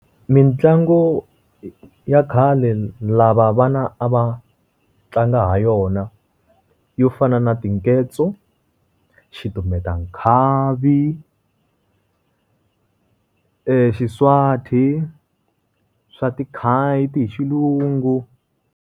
Mintlangu ya khale lava vana a va tlanga ha yona. Yo fana na tingedzo, xitumbeta nkhavi, xiswate, swa ti kite hi xilungu.